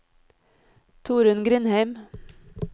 Torunn Grindheim